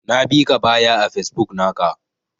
Na bika baya a Facebook naka.